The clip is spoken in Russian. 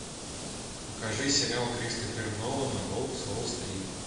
покажи сериал кристофера нолана волк с уолл стрит